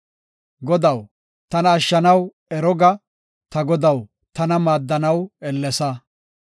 Godaw, tana ashshanaw ero ga; ta Godaw, tana maaddanaw ellesa.